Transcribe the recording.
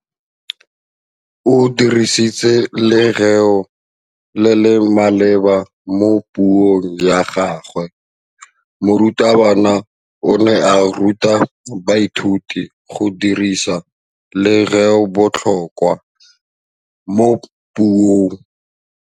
O dirisitse lerêo le le maleba mo puông ya gagwe. Morutabana o ne a ruta baithuti go dirisa lêrêôbotlhôkwa mo puong.